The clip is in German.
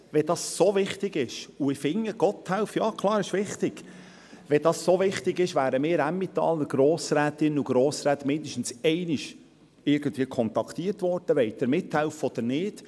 – Wenn das so wichtig ist – und ich finde, ja klar, Gotthelf ist wichtig – wenn das so wichtig ist, wären wir Emmentaler Grossrätinnen und Grossräte mindestens einmal kontaktiert worden, ob wir mithelfen wollen oder nicht;